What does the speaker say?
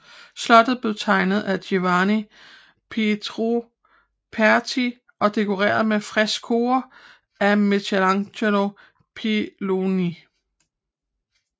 Slottet blev tegnet af Giovanni Pietro Perti og dekoreret med freskoer af Michelangelo Palloni